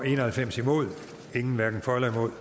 en og halvfems hverken for eller imod